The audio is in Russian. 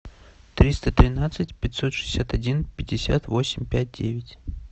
триста тринадцать пятьсот шестьдесят один пятьдесят восемь пять девять